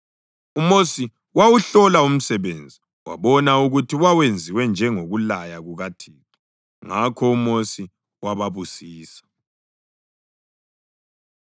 UMosi wawuhlola umsebenzi wabona ukuthi wawenziwe njengokulaya kukaThixo. Ngakho uMosi wababusisa.